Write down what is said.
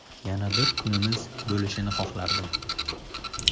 Yana bir kunimiz bo‘lishini xohlardim.